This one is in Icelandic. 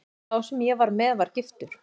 Sá sem ég var með var giftur.